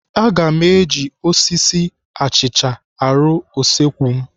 Aga m eji osisi achịcha arụ usekwu m.